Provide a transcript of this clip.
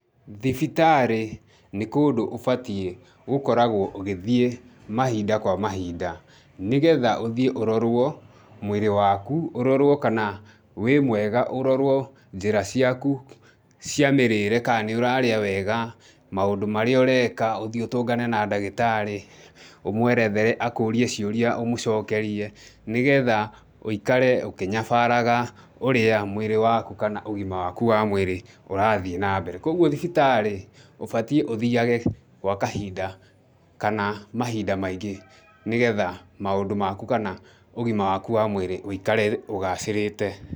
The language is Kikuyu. Thibitarĩ nĩ kũndũ ũbatiĩ gũkoragwo ũgĩthiĩ mahinda kwa mahinda, nĩgetha ũthiĩ ũrorwo mwĩrĩ wakũ, ũrorwo kana wĩ mwega, ũrorwo njĩra ciaku cia mĩrĩĩre, ka nĩũrarĩa wega, maũndũ marĩa ũreka, ũthiĩ ũtũngane na ndagĩtarĩ, ũmwerethere, akũrie ciũria ũmũcokerie nĩgetha ũikare ũkĩnyabaraga ũrĩa mwĩrĩ waku kana ũgima waku wa mwĩrĩ ũrathiĩ na mbere. Kũoguo thibitarĩ nĩ ũbatiĩ ũthiage gwa kahinda kana mahinda maingĩ nĩgetha maũndũ maku kana ũgima waku wa mwĩrĩ ũikare ũgacĩrĩte.